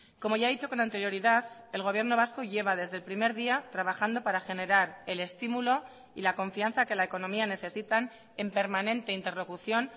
como ya he dicho con anterioridad el gobierno vasco lleva desde el primer día trabajando para generar el estímulo y la confianza que la economía necesitan en permanente interlocución